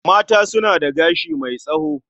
Mata suna da gashi mai tsawo.